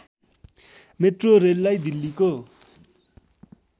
metro रेललाई दिल्लीको